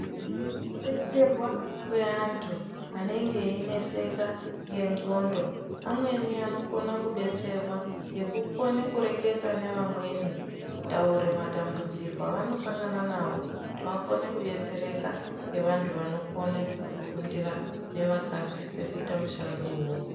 Kudetserwa kweantu anenge eineseka ngenxondo ,amweni anokone kudetserwa ngekutaura ngeamweni kutaura matambudziko avanosangana nawo kuti vakone kudetsereka ngevantu vanokone kuundira nevakasise kuita mushado iwowo.